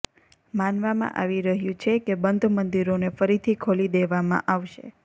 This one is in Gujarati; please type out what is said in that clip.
માનવામાં આવી રહ્યું છે કે બંધ મંદિરોને ફરીથી ખોલી દેવામાં આવશે